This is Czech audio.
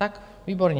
Tak výborně!